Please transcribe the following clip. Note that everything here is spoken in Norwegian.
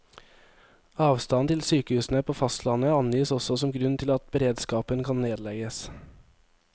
Avstanden til sykehusene på fastlandet angis også som grunn til at beredskapen kan nedlegges.